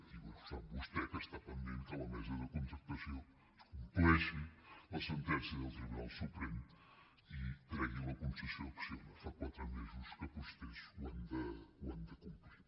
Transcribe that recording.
i sap vostè que està pendent que la mesa de contractació compleixi la sentència del tribunal suprem i tregui la concessió a acciona fa quatre mesos que vostès ho han de complir